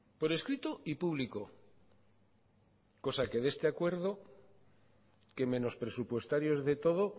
por escrito y público cosa que de este acuerdo que menos presupuestarios de todo